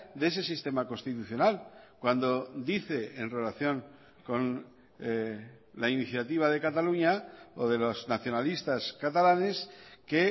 de ese sistema constitucional cuando dice en relación con la iniciativa de cataluña o de los nacionalistas catalanes que